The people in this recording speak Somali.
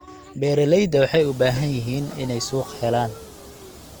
Beeralayda waxay u baahan yihiin inay suuq helaan.